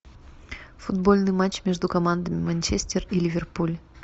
футбольный матч между командами манчестер и ливерпуль